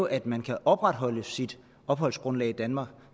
at man kan opretholde sit opholdsgrundlag i danmark